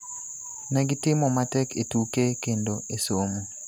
"Ne gitimo matek e tuke kendo e somo.